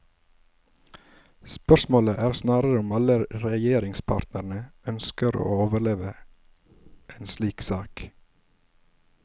Spørsmålet er snarere om alle regjeringspartnerne ønsker å overleve en slik sak.